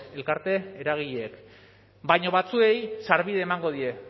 elkarte eragileek baina batzuei sarbidea emango die